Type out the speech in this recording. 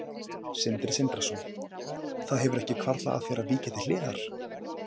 Sindri Sindrason: Það hefur ekki hvarflað að þér að víkja til hliðar?